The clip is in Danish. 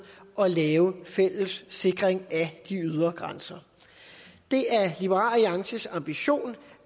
at lave en fælles sikring af de ydre grænser det er liberal alliances ambition